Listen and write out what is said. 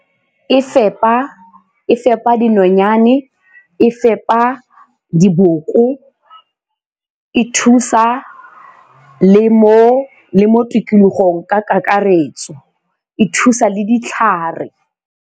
E fepa dinonyane, e fepa diboko, e thusa le mo tikologong ka kakaretso, e thusa le ditlhare.